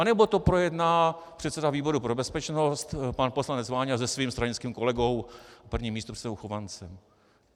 Anebo to projedná předseda výboru pro bezpečnost pan poslanec Váňa se svým stranickým kolegou prvním místopředsedou Chovancem.